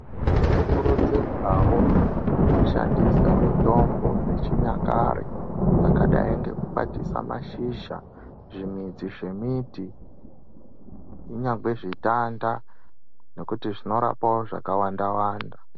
Tinokururudzirwao kushandisa mitombo dzechinyakare dzakadai ngekukwatisa mashizha zvimidzi zvemiti kunyangwe zvitanda nekuti zvinorapao zvakawanda wanda.